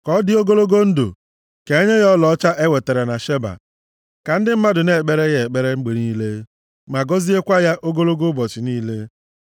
Ka ọ dị ogologo ndụ! Ka e nye ya ọlaọcha e wetara na Sheba. Ka ndị mmadụ na-ekpere ya ekpere mgbe niile, ma gọziekwa ya ogologo ụbọchị niile.